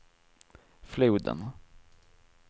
floden